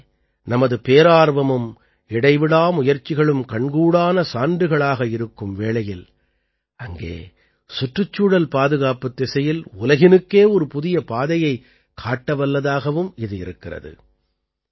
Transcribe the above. எங்கே நமது பேரார்வமும் இடைவிடா முயற்சிகளும் கண்கூடான சான்றுகளாக இருக்கும் வேளையில் அங்கே சுற்றுச்சூழல் பாதுகாப்புத் திசையில் உலகினுக்கே ஒரு புதிய பாதையைக் காட்டவல்லதாகவும் இது இருக்கிறது